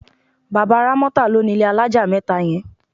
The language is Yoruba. Bàbá Rámọ́tà ló nílé alájà mẹ́ta yẹn.